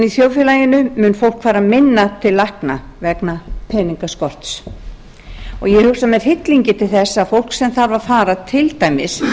þjóðfélaginu mun fólk fara minna til lækna vegna peningaskorts og ég hugsa með hryllingi til þess að fólk sem þarf að fara til dæmis